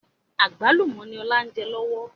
Àgbálùmọ̀ ni ọ̀la ń jẹ lọ́wọ́